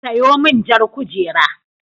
Sayo min jar kujera.